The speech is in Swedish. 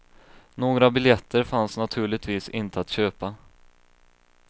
Några biljetter fanns naturligtvis inte att köpa.